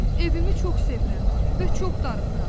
Evimi çox sevirəm və çox darıxıram.